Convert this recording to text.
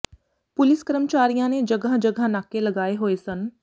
police ਕਰਮਚਾਰੀਆਂ ਨੇ ਜਗ੍ਹਾਂ ਜਗ੍ਹਾਂ ਨਾਕੇ ਲਗਾਏ ਹੋਏ ਸਨ